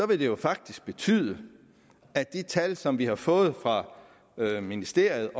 vil det jo faktisk betyde at de tal som vi har fået fra ministeriet